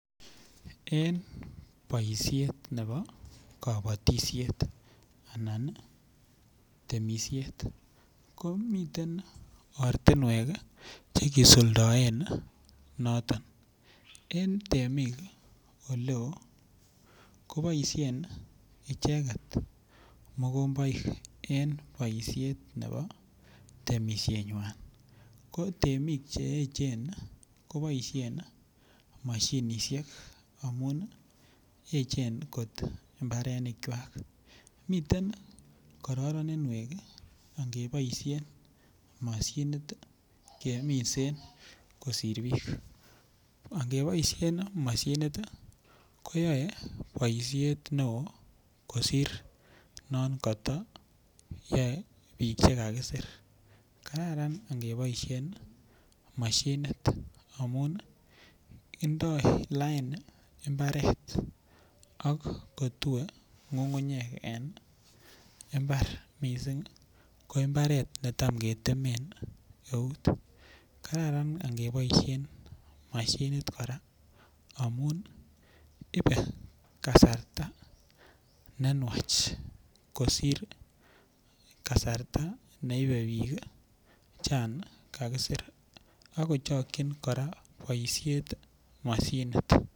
En boisiet nebo temisiet anan kabatisiet ko miten ortinwek Che kisuldaen noton en temik Oleo ko boisien icheget mokomboik en boisiet nebo temisienywa ko temik Che echen ko boisien mashinisiek amun echen kot mbarenikwak miten kararinwek angeboisien mashinit keminsen kosir bik angeboisien mashinit ii ko yoe boisiet neo kosir non koto yoe bik Che kakisir kararan angeboisien mashinit amun ii indoi lain mbaret ak ko tue ngungunyek en mbar mising ko mbaret netam ketemen eut kararan angeboisien mashinit kora amun ibe ne nwach kosir kasarta neibe bik chon kakisir ago chokyin kora boisiet mashinit